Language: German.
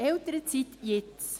Elternzeit jetzt!